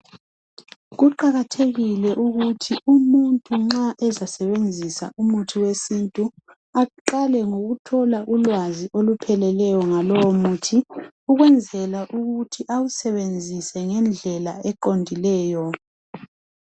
Kuqakathekile ukuthi umuntu nxa ezasebenzisa umuthi wesintu, aqale ngokuthola ulwazi olupheleleyo ngalowo muthi ukwenzela ukuthi awusebenzise ngendlela eqondileyo.